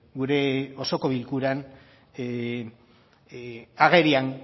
gure osoko bilkuran agerian